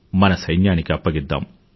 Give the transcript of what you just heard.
మన సైన్యానికి అప్పగిద్దాము